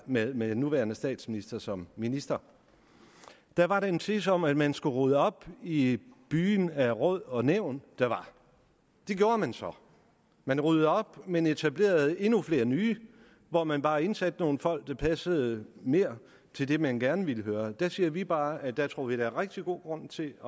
med den nuværende statsminister som minister der var der en tese om at man skulle rydde op i den byge af råd og nævn der var det gjorde man så man ryddede op men etablerede endnu flere nye hvor man bare indsatte nogle folk der passede mere til det man gerne ville høre der siger vi bare at der tror vi at der er rigtig god grund til